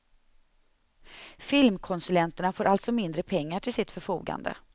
Filmkonsulenterna får alltså mindre pengar till sitt förfogande.